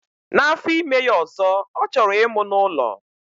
Na afọ ime ya ọzọ, ọ chọrọ ịmụ n'ụlọ.